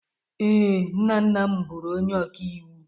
Ee, nna nna m bụrụ onye ọkàiwu